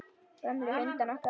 Gömlu hundana okkar.